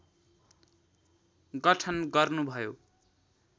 गठन गर्नुभयो